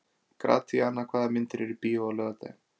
Gratíana, hvaða myndir eru í bíó á laugardaginn?